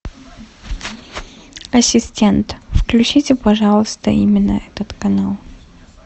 ассистент включите пожалуйста именно этот канал